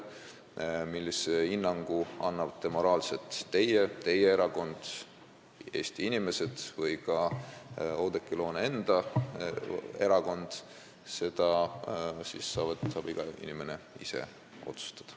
Seda, millise moraalse hinnangu annate teie, annab teie erakond, annavad Eesti inimesed või annab ka Oudekki Loone enda erakond, saate te kõik ise otsustada.